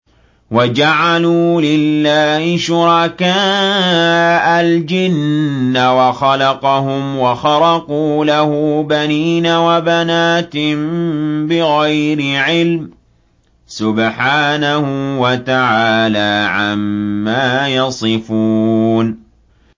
وَجَعَلُوا لِلَّهِ شُرَكَاءَ الْجِنَّ وَخَلَقَهُمْ ۖ وَخَرَقُوا لَهُ بَنِينَ وَبَنَاتٍ بِغَيْرِ عِلْمٍ ۚ سُبْحَانَهُ وَتَعَالَىٰ عَمَّا يَصِفُونَ